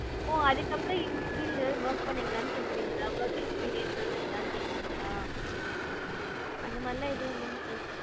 ஓ அதுக்கப்பறம் எந்த field ல work பண்ணேன் அப்டினு கேக்குறீங்களா? work experience எது இருக்கானு கேக்குறீங்களா? அந்தமாதிரி எல்லாம் எதும் இல்லைங்க sir.